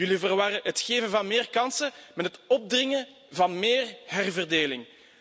Jullie verwarren het geven van meer kansen met het opdringen van meer herverdeling.